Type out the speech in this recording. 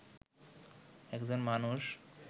একজন মানুষ